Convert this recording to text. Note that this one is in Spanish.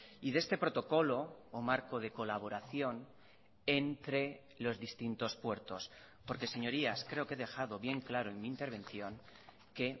y de este protocolo o marco de colaboración entre los distintos puertos porque señorías creo que he dejado bien claro en mi intervención que